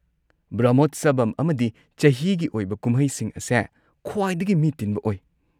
ꯕ꯭ꯔꯍꯃꯣꯠꯁꯕꯝ ꯑꯃꯗꯤ ꯆꯍꯤꯒꯤ ꯑꯣꯏꯕ ꯀꯨꯝꯍꯩꯁꯤꯡ ꯑꯁꯦ ꯈ꯭ꯋꯥꯏꯗꯒꯤ ꯃꯤ ꯇꯤꯟꯕ ꯑꯣꯏ꯫